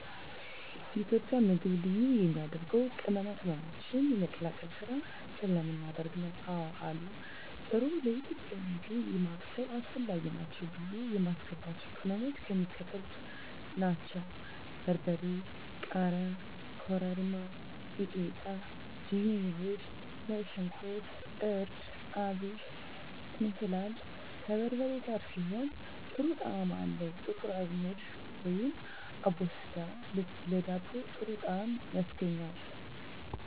የኢትዮጵያ ምግብ ልዩ የሚያደርገው ቅመማ ቅመሞችን የመቀላቀል ስራ ስለምናደርግ ነው። *አወ አሉ፦ ጥሩ ለኢትዮጵያዊ ምግብ ማብሰል አስፈላጊ ናቸው ብዬ የማስባቸው ቅመሞች የሚከተሉት ናቸው: * በርበሬ *ቃሪያ * ኮረሪማ * ሚጥሚጣ * ዝንጅብል * ነጭ ሽንኩርት * እርድ * አብሽ *እንስላል፦ ከበርበሬ ጋር ሲሆን ጥሩ ጣዕም አለው *ጥቁር አዝሙድ(አቦስዳ)ለዳቦ ጥሩ ጣዕም ያስገኛል።